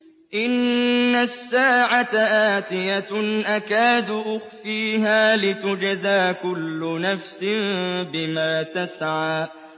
إِنَّ السَّاعَةَ آتِيَةٌ أَكَادُ أُخْفِيهَا لِتُجْزَىٰ كُلُّ نَفْسٍ بِمَا تَسْعَىٰ